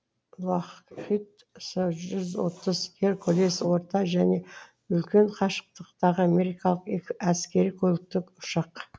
лақхид це жүз отыз геркулес орта және үлкен қашықтықтағы америкалық әскери көліктік ұшақ